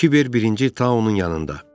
Kiber birinci Tao-nun yanında.